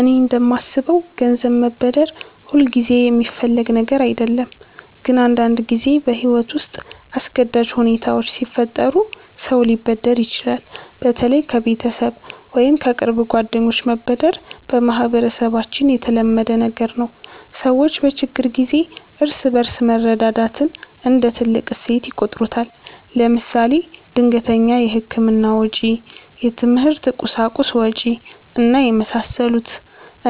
እኔ እንደማስበው ገንዘብ መበደር ሁልጊዜ የሚፈለግ ነገር አይደለም፣ ግን አንዳንድ ጊዜ በሕይወት ውስጥ አስገዳጅ ሁኔታዎች ሲፈጠሩ ሰው ሊበደር ይችላል። በተለይ ከቤተሰብ ወይም ከቅርብ ጓደኞች መበደር በማህበረሰባችን የተለመደ ነገር ነው። ሰዎች በችግር ጊዜ እርስ በርስ መረዳዳትን እንደ ትልቅ እሴት ይቆጥሩታል። ለምሳሌ ድንገተኛ የሕክምና ወጪ፣ የትምህርት ቁሳቁስ ወጭ እና የመሳሰሉት።